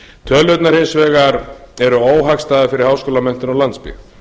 tölurnar hins vegar eru óhagstæðar fyrir háskólamenntun og landsbyggð